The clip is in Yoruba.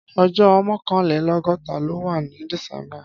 Ọjọ mọkànlélọgọta ló wà ni dísèmbá